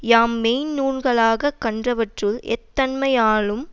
யாம் மெய்ந்நூல்களாகக் கண்டவற்றுள் எத்தன்மையாலும்